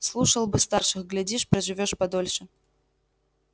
слушал бы старших глядишь проживёшь подольше